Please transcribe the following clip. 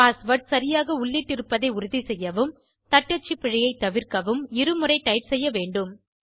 password சரியாக உள்ளிட்டிருப்பதை உறுதி செய்யவும் தட்டச்சு பிழையை தவிர்க்கவும் இருமுறை டைப் செய்ய வேண்டும்